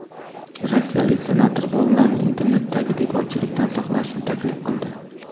Rossiyalik senator bolalarni internetdagi bekorchilikdan saqlashni taklif qildi.